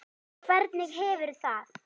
Hvernig hefurðu það?